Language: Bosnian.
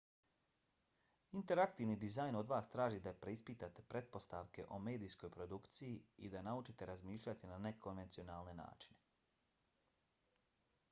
interaktivni dizajn od vas traži da preispitate pretpostavke o medijskoj produkciji i da naučite razmišljati na nekonvencionalne načine